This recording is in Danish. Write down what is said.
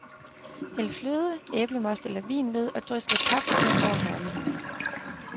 Hæld fløde, æblemost eller vin ved, og drys lidt paprika over herligheden.